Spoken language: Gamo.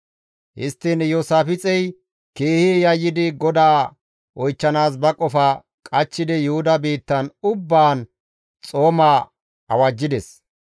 Histtiin Iyoosaafixey keehi yayyidi GODAA oychchanaas ba qofa qachchidi Yuhuda biittan ubbaan xooma awajjides.